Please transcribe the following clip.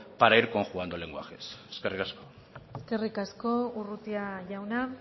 para ir conjugando lenguajes eskerrik asko eskerrik asko urrutia jauna